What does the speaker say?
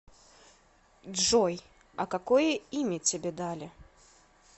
джой а какое имя тебя дали